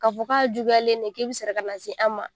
K'a fɔ k'a juguyalen de k'i bɛ sɔrɔ ka na se an ma